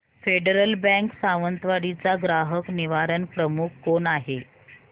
federal Bank Sawantwadi चा ग्राहक निवारण प्रमुख कोण आहे